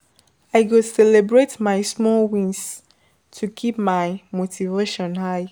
I go celebrate my small wins to keep my motivation high.